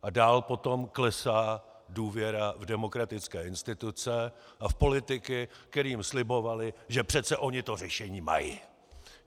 A dál potom klesá důvěra v demokratické instituce a v politiky, kteří jim slibovali, že přece oni to řešení mají.